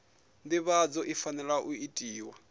nḓivhadzo i fanela u itiwa